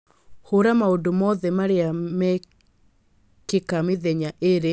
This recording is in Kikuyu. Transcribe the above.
Hũra maũndũ mothe marĩa mekĩka mĩthenya ĩĩrĩ ĩrĩa ĩroka